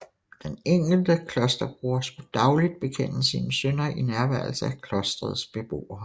Den enkelte klosterbroder skulle dagligt bekende sine synder i nærværelse af klostrets beboere